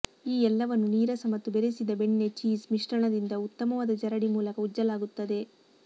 ಈ ಎಲ್ಲವನ್ನೂ ನೀರಸ ಮತ್ತು ಬೆರೆಸಿದ ಬೆಣ್ಣೆ ಚೀಸ್ ಮಿಶ್ರಣದಿಂದ ಉತ್ತಮವಾದ ಜರಡಿ ಮೂಲಕ ಉಜ್ಜಲಾಗುತ್ತದೆ